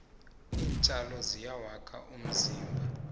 iintjalo ziyawakha umzimba